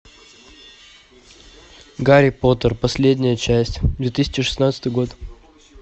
гарри поттер последняя часть две тысячи шестнадцатый год